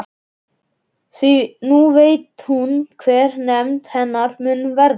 Því nú veit hún hver hefnd hennar mun verða.